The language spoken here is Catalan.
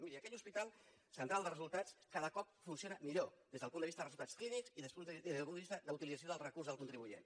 miri aquell hospital central de resultats cada cop funciona millor des del punt de vista de resultats clínics i des del punt de vista d’utilització del recurs del contribuent